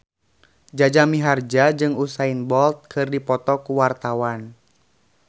Jaja Mihardja jeung Usain Bolt keur dipoto ku wartawan